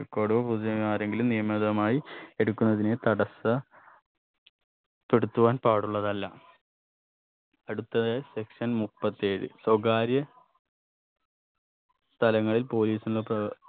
record ഓ പുതിയ ആരെങ്കിലും നിയമിതമായി എടുക്കുന്നതിനെ തടസ്സ പ്പെടുത്തുവാൻ പാടുള്ളതല്ല അടുത്തത് section മുപ്പത്തേഴ് സ്വകാര്യ തലങ്ങളിൽ police ന്റെ പ്രവ്